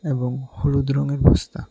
এবং হলুদ রঙের বস্তা।